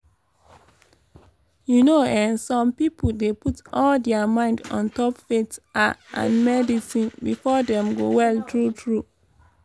you know eh some pipo dey put all dia mind ontop faith ah and medicine befor dem go well tru tru?